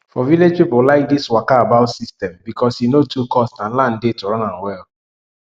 for village people like this waka about system because e no too cost and land dey to run am well